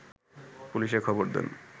পুলিশে খবর দেন